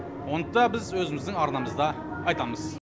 оны да біз өзіміздің арнамызда айтамыз